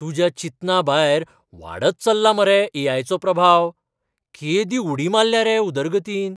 तुज्या चिंतनाभायर वाडत चल्ला मरे ए.आय. चो प्रभाव. केदी उडी मारल्या रे उदरगतीन!